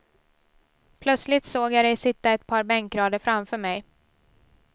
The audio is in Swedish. Plötsligt såg jag dig sitta ett par bänkrader framför mig.